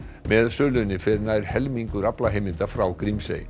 með sölunni fer nær helmingur aflaheimilda frá Grímsey